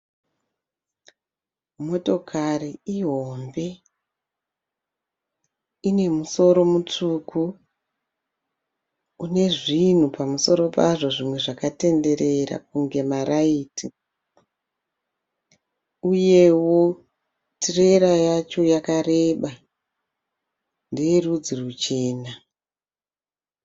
Motokari ihombe ine musoro mutsvuku une zvinhu pamusoro pazvo zvimwe zvakatenderera kunge maraiti uyewo tirera yacho yakareba ndeye rudzi rwuchena.